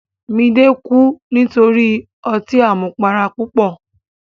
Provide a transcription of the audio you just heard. Midé kú nítorí ọtí àmupara púpọ̀.